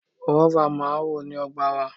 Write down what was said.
Gúáfá máa ń wù ní ọgbà wa.